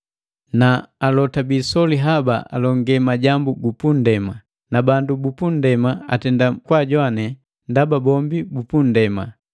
Na alota biisoli haba alonge majambu gupu nndema, na bandu bupu nndema atenda kwaajowane ndaba bombi bupunndema.